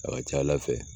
A ka ca ala fɛ